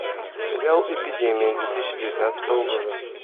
сериал эпидемия две тысячи девятнадцатого года